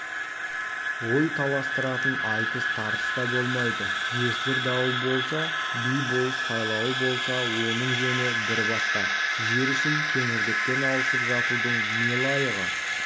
ой таластыратын айтыс-тартыс та болмайды жесір дауы болса би-болыс сайлауы болса оның жөні бір басқа жер үшін кеңірдектен алысып жатудың не лайығы